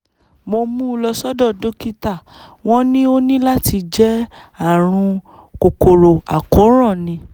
mo mú un lọ sọ́dọ̀ dókítà wọ́n ní ó ní láti jẹ́ ààrùn kòkòrò àkóràn ni